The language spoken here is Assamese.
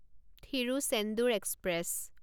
থিৰুচেন্দুৰ এক্সপ্ৰেছ